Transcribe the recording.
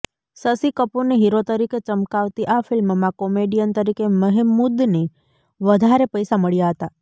શશિ કપૂરને હીરો તરીકે ચમકાવતી આ ફિલ્મમાં કોમેડિયન તરીકે મહેમૂદને વધારે પૈસા મળ્યા હતા